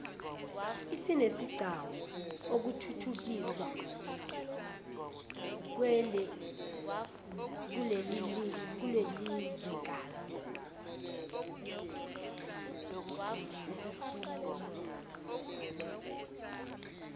isinesigcawu okuthuthukiswa kwelelizwekazi